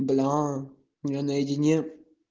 бля я наедине